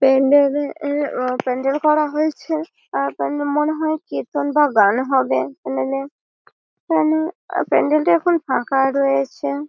প্যান্ডেল -এ -এ প্যান্ডেল করা হয়েছে। তার ওপরে মনে হয় কীর্তন বা গান হবে প্যান্ডেল প্যান প্যান্ডেল প্যান্ডেল -টা এখন ফাঁকা রয়েছে ।